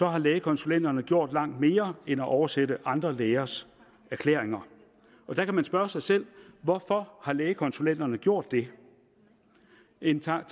har lægekonsulenterne gjort langt mere end at oversætte andre lægers erklæringer der kan man spørge sig selv hvorfor har lægekonsulenterne gjort det en tanke